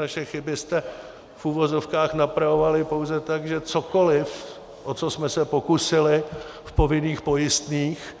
Naše chyby jste v uvozovkách napravovali pouze tak, že cokoli, o co jsme se pokusili v povinných pojistných,